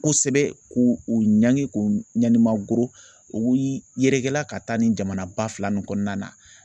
Kosɛbɛ k'u u ɲangi k'u ɲanima goro o y'i yɛrɛkɛla ka taa nin jamana ba fila min kɔnɔna na .